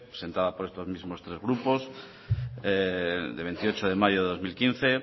presentada por estos mismos tres grupos del veintiocho de mayo de dos mil quince